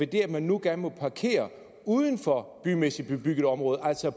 det at man nu gerne må parkere uden for bymæssig bebygget område altså